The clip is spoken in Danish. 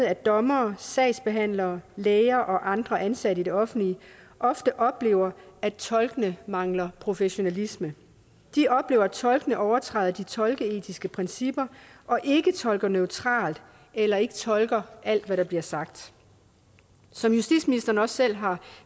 at dommere sagsbehandlere læger og andre ansatte i det offentlige ofte oplever at tolkene mangler professionalisme de oplever at tolkene overtræder de tolkeetiske principper og ikke tolker neutralt eller ikke tolker alt hvad der bliver sagt som justitsministeren også selv har